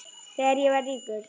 Þegar ég verð ríkur.